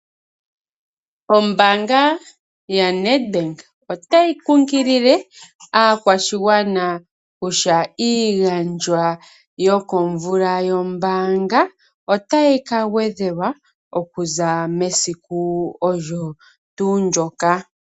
Ombanga yaNEDBANK otayi kukilile aakwashigwana kutya iigandjwa yokomvula yombanga otayi ka gwedhelwa okuza mesiku olyo tuu ndjoka.